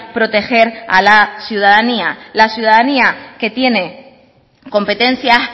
proteger a la ciudadanía la ciudadanía que tiene competencias